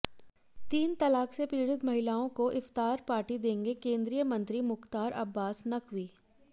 तीन तलाक से पीड़ित महिलाओं को इफ्तार पार्टी देंगे केंद्रीय मंत्री मुख्तार अब्बास नकवी